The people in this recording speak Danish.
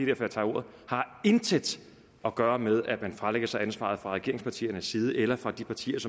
jeg tager ordet intet at gøre med at man fralægger sig ansvaret fra regeringspartiernes side eller fra de partiers